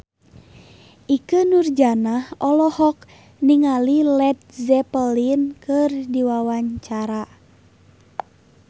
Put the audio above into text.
Ikke Nurjanah olohok ningali Led Zeppelin keur diwawancara